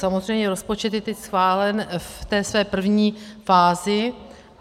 Samozřejmě rozpočet je teď schválen v té své první fázi.